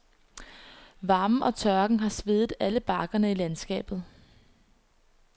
Varmen og tørken har svedet alle bakkerne i landskabet.